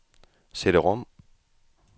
CD-rom